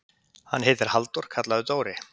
Hann heitir Halldór, kallaður Dóri.